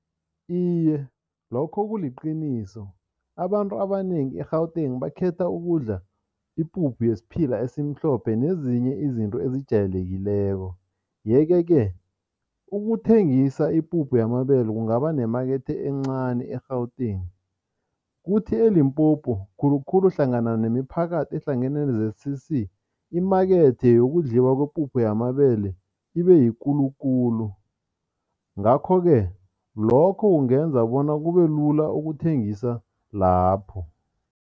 Iye, lokho kuliqiniso abantu abanengi e-Gauteng bakhetha ukudla ipuphu yesiphila esimhlophe nezinye izinto ezijayelekileko yeke-ke ukuthengisa ipuphu yamabele kungaba nemakethe encani e-Gauteng, kuthi eLimpopo khulukhulu hlangana nemiphakathi ehlangene ne-Z_C_C, imakethe yokudliwa kwepuphu yamabele ibeyikulu khulu ngakho-ke lokho kungenza bona kubelula ukuthengisa lapho.